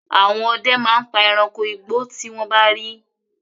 Àwọn ọdẹ máa pa ẹranko igbó tí wọ́n bá rí.